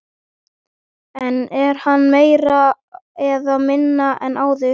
En er hann meiri eða minni en áður?